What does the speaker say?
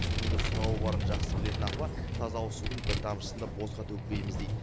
судың да сұрауы барын жақсы білетін апа таза ауыз судың бір тамшысын да босқа төкпейміз дейді